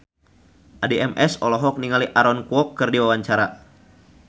Addie MS olohok ningali Aaron Kwok keur diwawancara